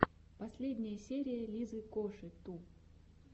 последняя серия лизы коши ту